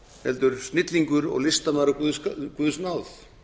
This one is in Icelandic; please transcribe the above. heldur snillingur og listamaður af guðs náð